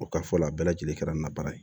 O ka fɔ la bɛɛ lajɛlen kɛra ni na baara ye